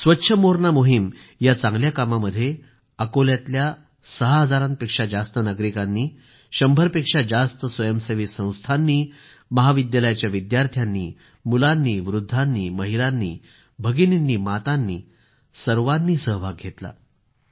स्वच्छ मोरणा मोहीम या चांगल्या कामामध्ये अकोल्यातले सहा हजारांपेक्षा जास्त नागरिक आणि शंभरपेक्षा जास्त स्वयंसेवी संस्था महाविद्यालयाचे विद्यार्थी मुले वृद्ध महिला भगिनी माता अशा सर्वजण सहभागी झाले होते